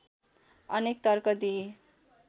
अनेक तर्क दिइए